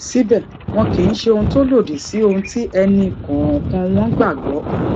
síbè wọn kì í ṣe ohun tó lòdì sí ohun tí ẹnì kòòkan wọn gbà gbó